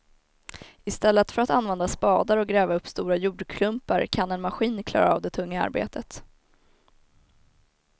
Istället för att använda spadar och gräva upp stora jordklumpar kan en maskin klara av det tunga arbetet.